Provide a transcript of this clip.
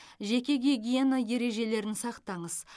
жеке гигиена ережелерін сақтаңыз